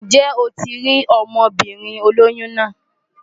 Ǹjẹ́ o ti rí ọmọbìnrin olóyún náà?